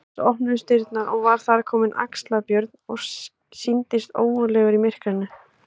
Loks opnuðust dyrnar og var þar kominn Axlar-Björn og sýndist ógurlegur í myrkrinu.